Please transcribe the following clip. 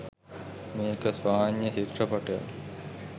මේක ස්පාඤ්ඤ චිත්‍රපටියක්.